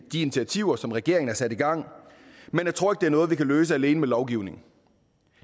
de initiativer som regeringen har sat i gang men jeg tror ikke det er noget vi kan løse alene med lovgivning